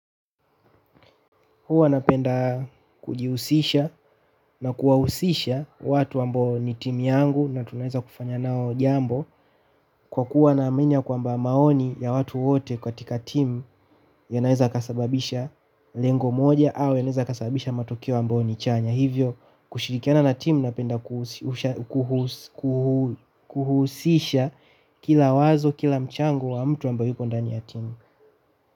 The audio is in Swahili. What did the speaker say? Huwa napenda kujihusisha na kuwahusisha watu ambao ni team yangu na tunaeza kufanya nao jambo kwa kuwa na amini ya kwamba maoni ya watu wote katika team yanaeza yakasababisha lengo moja au yanaeza yakasababisha matokeo ambayo ni chanya. Hivyo kushirikiana na team na penda kuhusisha kila wazo kila mchango wa mtu ambaye yuko ndani ya timu.